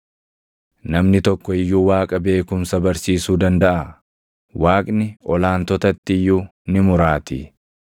“Namni tokko iyyuu Waaqa beekumsa barsiisuu dandaʼaa? Waaqni ol aantotatti iyyuu ni muraatii.